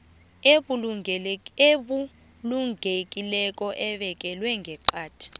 ebulungekileko ebekelwe ngeqadi